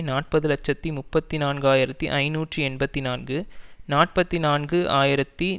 நாற்பது இலட்சத்தி முப்பத்தி நான்கு ஆயிரத்தி ஐநூற்று ஐம்பத்தி நான்கு நாற்பத்தி நான்கு ஆயிரத்தி